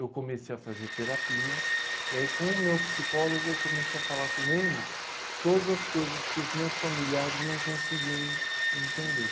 Eu comecei a fazer terapia e aí com o meu psicólogo eu comecei a falar com ele todas as coisas que os meus familiares não conseguiam en entender.